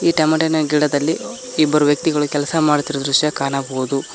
ಈ ಟೊಮ್ಯಾಟಿನ ಗಿಡದಲ್ಲಿ ಇಬ್ಬರು ವ್ಯಕ್ತಿಗಳು ಕೆಲಸ ಮಾಡುತ್ತಿರುವ ದೃಶ್ಯ ಕಾಣಬಹುದು.